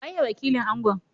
Waye wakilin Angon?